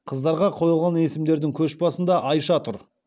қыздарға қойылған есімдердің көшбасында айша тұр